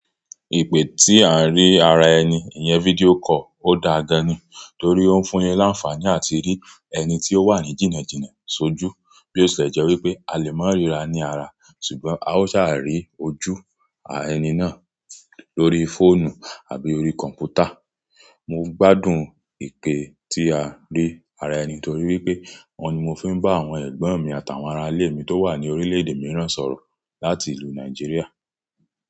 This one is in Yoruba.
Ìpè tí à ń rí ara ẹni, ìyẹn video call ó da gan-an ni, torí ó ń fún ẹ láǹfààní àti rí ẹni tí ó wà ní jìnnà jìnà ṣojú. Bí ó ṣe jẹ́ wí pé a lè máa ríra ní ara, ṣùgbọ́n a ó ṣààrí ojú ẹni náà lórí fóònù àbí orí kọ̀m̀pútà. Mo gbádùn ìpè tí a rí ara ẹni torí wípé, òun ni mo fi ń bá àwọn ẹ̀gbọ́n mi àtàwọn aralẹ́ mi tó wà ní orílẹ̀-èdè mìíràn sọ̀rọ̀ láti ìlú Nàìjíríà.